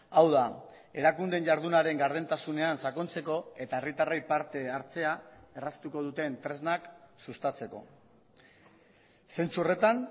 hau da erakundeen jardunaren gardentasunean sakontzeko eta herritarrei parte hartzea erraztuko duten tresnak sustatzeko zentzu horretan